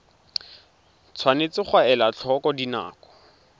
tshwanetse ga elwa tlhoko dinako